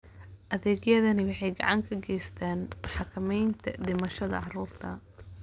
Adeegyadani waxay gacan ka geystaan ??xakamaynta dhimashada carruurta.